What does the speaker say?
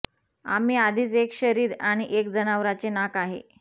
आम्ही आधीच एक शरीर आणि एक जनावराचे नाक आहे